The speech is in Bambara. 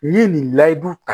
N ye nin layidu ta